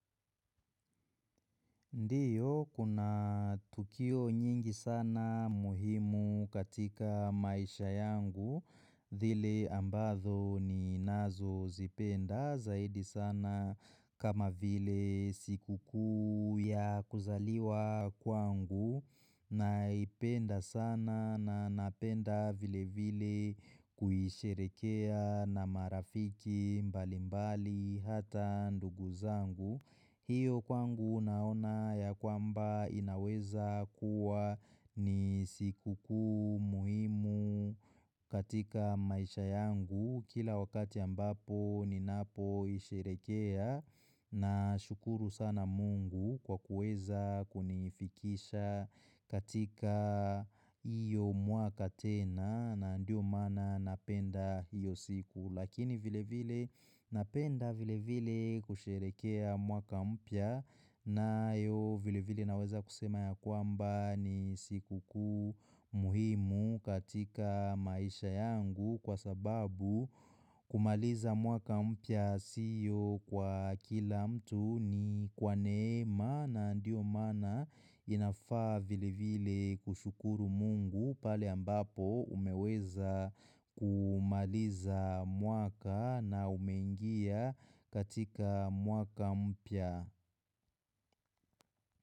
Ndiyo, kuna tukio nyingi sana muhimu katika maisha yangu, zile ambazo ninazozipenda zaidi sana kama vile siku kuu ya kuzaliwa kwangu naipenda sana na napenda vile vile kuisherekea na marafiki mbali mbali hata ndugu zangu. Hiyo kwangu naona ya kwamba inaweza kuwa ni siku kuu muhimu katika maisha yangu kila wakati ambapo ninapoisherekea nashukuru sana mungu kwa kuweza kunifikisha katika hiyo mwaka tena na ndio maana napenda hiyo siku. Lakini vile vile napenda vile vile kusherehekea mwaka mpya nayo vile vile naweza kusema ya kwamba ni siku kuu muhimu katika maisha yangu kwa sababu kumaliza mwaka mpya sio kwa kila mtu ni kwa neema na ndio maana inafaa vile vile kushukuru mungu pale ambapo umeweza kumaliza mwaka na umengia katika mwaka mpya.